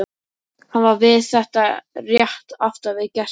Hann var við þetta rétt aftan við gestinn.